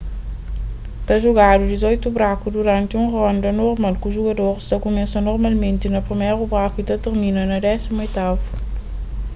ta jugadu dizoitu braku duranti un ronda normal ku jugadoris ta kumesa normalmenti na priméru braku y ta tirmina na désimu oitavu